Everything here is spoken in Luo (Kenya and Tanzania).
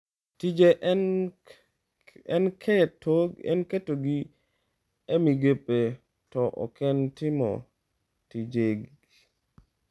Tije en ketogi e migepe, to oken timo tijegi."